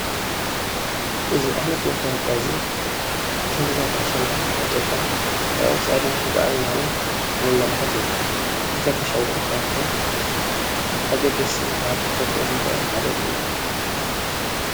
እዚ ዓይነት መታወቅያ እዚ ክብርታት ኣሸንዳ ዓቅብካ ንቀፃልነት ክንጉዓዝ ዘመላክት እዩ፡፡ ክብርታት ኣሸንዳ ካብቶም ኣገደስቲ ዝባሃሉ ክንፈልጦም ዝግበአና ሓደ እዩ፡፡